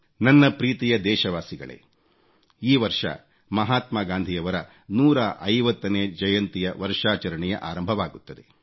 ನನ್ನ ಪ್ರೀತಿಯ ದೇಶವಾಸಿಗಳೇ ಈ ವರ್ಷ ಮಹಾತ್ಮಾ ಗಾಂಧಿಯವರ 150 ನೇ ಜಯಂತಿಯ ವರ್ಷಾಚರಣೆಯ ಆರಂಭವಾಗುತ್ತದೆ